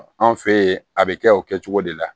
An fɛ yen a bɛ kɛ o kɛcogo de la